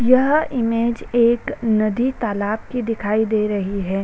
यह इमेज एक नदी तालाब की दिखाई दे रही है।